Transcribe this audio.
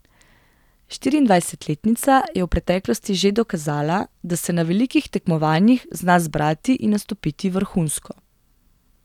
Štiriindvajsetletnica je v preteklosti že dokazala, da se na velikih tekmovanjih zna zbrati in nastopiti vrhunsko.